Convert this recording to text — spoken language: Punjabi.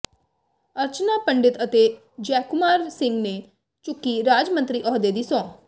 ਅਰਚਨਾ ਪੰਡਿਤ ਅਤੇ ਜੈਕੁਮਾਰ ਸਿੰਘ ਨੇ ਚੁੱਕੀ ਰਾਜ ਮੰਤਰੀ ਅਹੁਦੇ ਦੀ ਸਹੁੰ